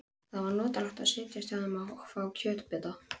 Það var notalegt að setjast hjá þeim og fá kökubita.